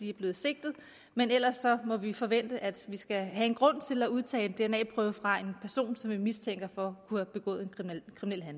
er blevet sigtet men ellers må vi forvente at vi skal have en grund til at udtage en dna prøve fra en person som vi mistænker for